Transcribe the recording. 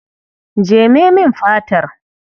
Jeme min fatar.